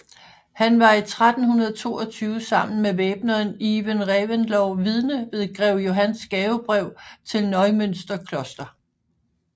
Han var i 1322 sammen med væbneren Iven Reventlow vidne ved grev Johans gavebrev til Neumünster Kloster